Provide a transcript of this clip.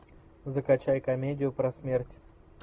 закачай комедию про смерть